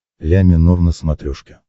ля минор на смотрешке